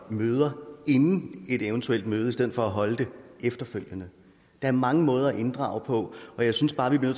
møde inden et eventuelt møde i stedet for at holde det efterfølgende der er mange måder at inddrage på og jeg synes bare vi bliver